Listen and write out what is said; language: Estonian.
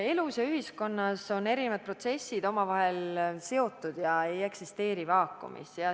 Elus ja ühiskonnas on erinevad protsessid omavahel seotud, need ei eksisteeri vaakumis.